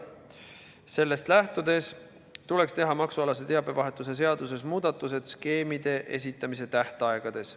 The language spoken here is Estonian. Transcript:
Sellest lähtudes tuleks teha maksualase teabevahetuse seaduses muudatused skeemide esitamise tähtaegades.